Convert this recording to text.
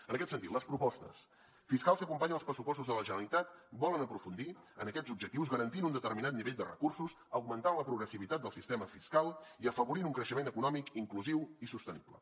en aquest sentit les propostes fiscals que acompanyen els pressupostos de la generalitat volen aprofundir en aquests objectius garantint un determinat nivell de recursos augmentant la progressivitat del sistema fiscal i afavorint un creixement econòmic inclusiu i sostenible